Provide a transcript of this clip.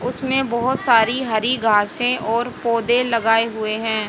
उसमें बहोत सारी हरि घासे और पौधे लगाए हुए हैं।